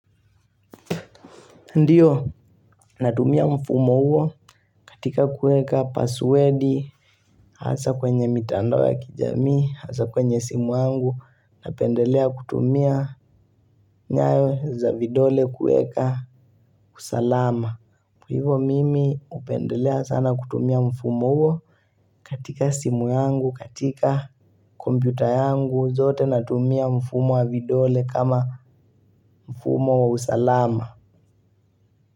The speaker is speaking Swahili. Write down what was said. Ndiyo natumia mfumo huo katika kueka passwerdi hasa kwenye mitandao ya kijamii, hasa kwenye simu yangu, napendelea kutumia nyayo za vidole kueka usalama. Kwa hivo mimi upendelea sana kutumia mfumo huo katika simu yangu katika kompyuta yangu zote natumia mfumo wa vidole kama mfumo wa usalama.